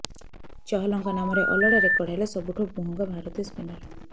ଚହଲଙ୍କ ନାମରେ ଅଲୋଡା ରେକର୍ଡ ହେଲେ ସବୁଠୁ ମହଙ୍ଗା ଭାରତୀୟ ସ୍ପିନର